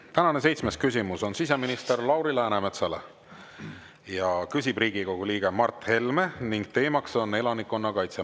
Tänane seitsmes küsimus on siseminister Lauri Läänemetsale, küsib Riigikogu liige Mart Helme ning teemaks on elanikkonnakaitse.